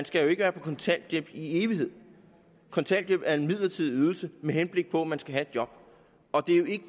skal være på kontanthjælp i evighed kontanthjælp er en midlertidig ydelse med henblik på at man skal have et job